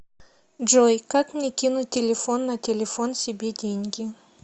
джой как мне кинуть телефон на телефон себе деньги